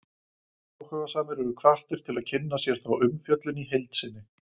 áhugasamir eru hvattir til að kynna sér þá umfjöllun í heild sinni